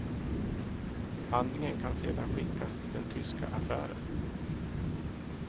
Handlingen kan sedan skickas till den tyska affären.